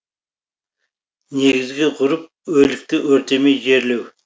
негізгі ғұрып өлікті өртемей жерлеу